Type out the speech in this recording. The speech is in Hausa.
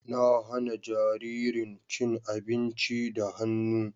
Na hana jaririn cin abinci da hannu.